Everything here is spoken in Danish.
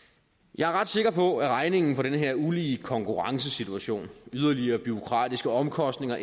jeg er ret sikker på at regningen for den her ulige konkurrencesituation yderligere bureaukratiske omkostninger